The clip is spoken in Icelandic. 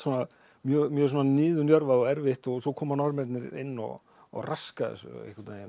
mjög niðurnjörvað og erfitt svo koma Norðmennirnir inn og og raska þessu einhvern veginn